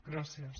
gràcies